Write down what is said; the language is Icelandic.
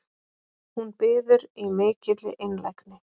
Hún biður í mikilli einlægni